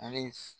A bɛ